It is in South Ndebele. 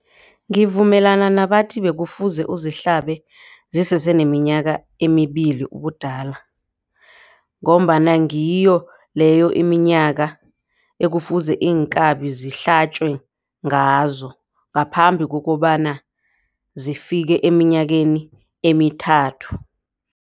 Ngivumelana nabathi bekufuze uzihlabe ziseseneminyaka emibili ubudala. Ngombana ngiyo leyo iminyaka ekufuze iinkabi zihlatjwe ngazo ngaphambi kokobana zifike eminyakeni emithathu.